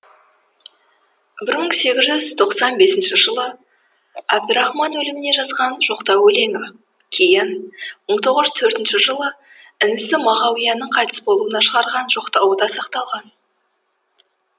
бір мың сегіз жүз тоқсан бесінші жылы әбдірахман өліміне жазған жоқтау өлеңі кейін мың тоғыз жүз төртінші жылы інісі мағауияның қайтыс болуына шығарған жоқтауы да сақталған